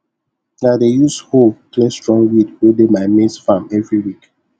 i dey use hoe clear strong weed wey dey my maize farm evryweek